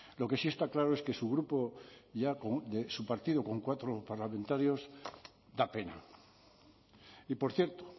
lo que sí está claro es que su partido ya con cuatro parlamentarios da pena y por cierto